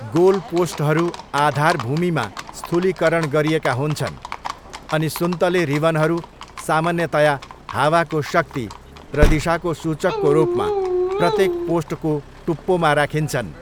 Goal पोस्टहरू आधारभूमिमा स्थूलिकरण गरिएका हुन्छन् अनि सुन्तले रिबनहरू सामान्यतया हावाको शक्ति र दिशाको सूचकको रूपमा प्रत्येक पोस्टको टुप्पोमा राखिन्छन्।